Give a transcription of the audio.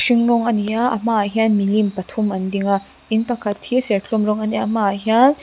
hring rawn a ni a a hmaah hian milim pathum an ding a in pakhat hi serthlum rawn a nia a hmaah hian --